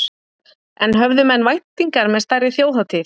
En höfðu menn væntingar með stærri þjóðhátíð?